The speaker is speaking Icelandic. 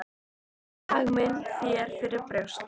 Berð hag minn þér fyrir brjósti.